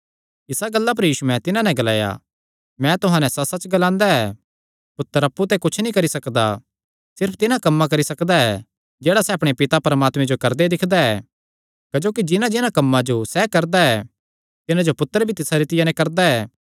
इसा गल्ला पर यीशुयैं तिन्हां नैं ग्लाया मैं तुहां नैं सच्चसच्च ग्लांदा ऐ पुत्तर अप्पु ते कुच्छ नीं करी सकदा सिर्फ तिन्हां कम्मां करी सकदा जेह्ड़ा सैह़ अपणे पिता परमात्मे जो करदे दिक्खदा ऐ क्जोकि जिन्हांजिन्हां कम्मां जो सैह़ करदा ऐ तिन्हां जो पुत्तर भी तिसा रितिया नैं करदा ऐ